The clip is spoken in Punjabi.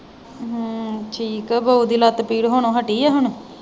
ਅਮ ਠੀਕ ਹੈ। ਬਾਊ ਦੀ ਲੱਤ ਪੀੜ ਹੋਣੋ ਹੱਟੀ ਹੈ ਹੁਣ?